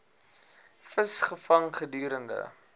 vis gevang gedurende